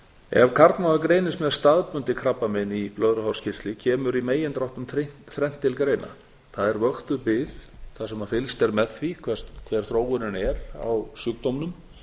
ef karlmaður greinist með staðbundið krabbamein í blöðruhálskirtli kemur í megindráttum þrennt til greina vöktuð bið þar sem fylgst er með því hver þróunin er á sjúkdómnum